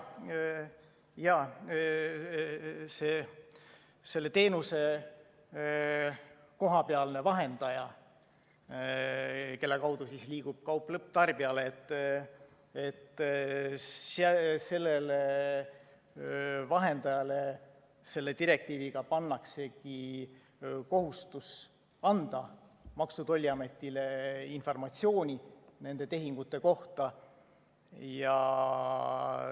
Jaa, selle teenuse kohapealsele vahendajale, kelle kaudu liigub kaup lõpptarbijale, selle direktiiviga pannaksegi kohustus anda Maksu‑ ja Tolliametile informatsiooni nende tehingute kohta.